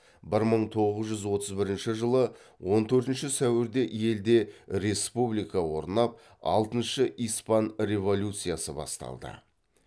бір мың тоғыз жүз отыз бірінші жылы он төртінші сәуірде елде республика орнап алтыншы испан революциясы басталды